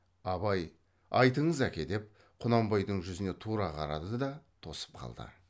абай айтыңыз әке деп құнанбайдың жүзіне тура қарады да тосып қалды